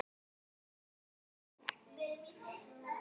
Heyrðu, jú.